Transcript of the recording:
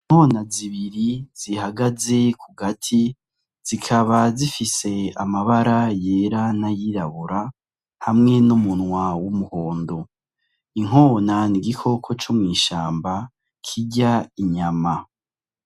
Inkona zibiri zihagaze ku gati, zikaba zifise amabara yera n'ayirabura, hamwe n'umunwa w'umuhondo. Inkona ni igikoko co mw'ishamba kirya inyama.